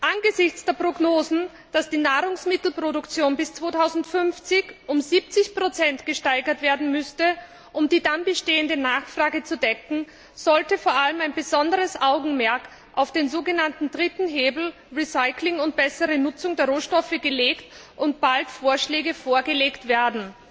Angesichts der Prognosen, dass die Nahrungsmittelproduktion bis 2050 um 70 gesteigert werden müsste, um die dann bestehende Nachfrage zu decken, sollte vor allem ein besonderes Augenmerk auf den sogenannten dritten Hebel Recycling und bessere Nutzung der Rohstoffe gelegt werden, und es sollen bald Vorschläge vorgelegt werden.